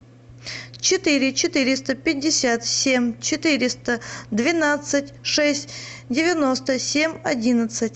четыре четыреста пятьдесят семь четыреста двенадцать шесть девяносто семь одиннадцать